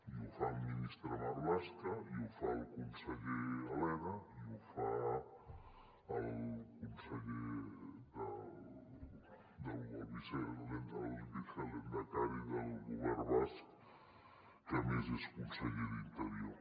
i ho fa el ministre marlaska i ho fa el conseller elena i ho fa el vicelehendakari del govern basc que a més és conseller d’interior